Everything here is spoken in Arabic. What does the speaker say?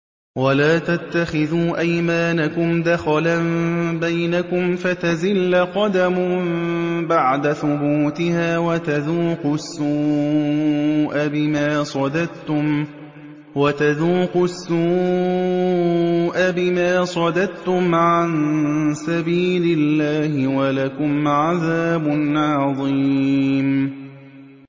وَلَا تَتَّخِذُوا أَيْمَانَكُمْ دَخَلًا بَيْنَكُمْ فَتَزِلَّ قَدَمٌ بَعْدَ ثُبُوتِهَا وَتَذُوقُوا السُّوءَ بِمَا صَدَدتُّمْ عَن سَبِيلِ اللَّهِ ۖ وَلَكُمْ عَذَابٌ عَظِيمٌ